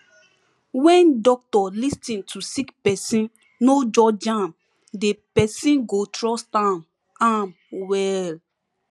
when doctor lis ten to sick pesin no judge am de person go trust am am well